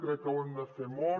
crec que ho hem de fer molt